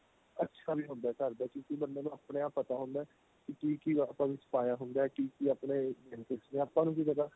ਅੱਛਾ ਵੀ ਹੁੰਦਾ ਘਰ ਦਾ ਕਿਉਂਕਿ ਬੰਦੇ ਨੂੰ ਆਪਣੇ ਆਪ ਪਤਾ ਹੁੰਦਾ ਕੀ ਕੀ ਆਪਾਂ ਵਿੱਚ ਪਾਇਆ ਹੁੰਦਾ ਕੀ ਕੀ ਆਪਣੇ benefits ਨੇ ਆਪਾਂ ਨੂੰ ਕੀ ਪਤਾ